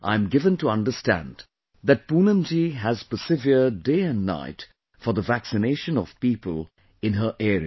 I am given to understand that Poonam ji has persevered day and night for the vaccination of people in her area